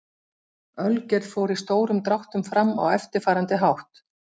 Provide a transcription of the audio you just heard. Ölgerð fór í stórum dráttum fram á eftirfarandi hátt.